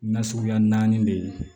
Na suguya naani de ye